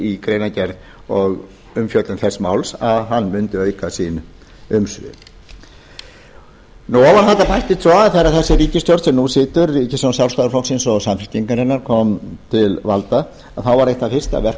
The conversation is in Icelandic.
í greinargerð og umfjöllun þess máls að hann mundi auka sín umsvif ofan á þetta bættist svo að þegar sú ríkisstjórn sem nú situr ríkisstjórn sjálfstæðisflokksins og samfylkingarinnar kom til valda þá var eitt fyrsta verk